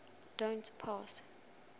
don t pass